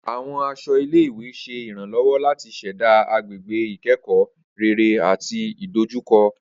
Awọn aṣọ ile-iwe ṣe iranlọwọ lati ṣẹda agbegbe ikẹkọ rere ati idojukọ.